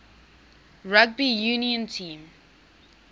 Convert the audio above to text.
rugby union team